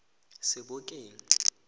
sebokeng